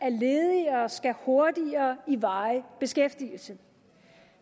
at ledige hurtigere i varig beskæftigelse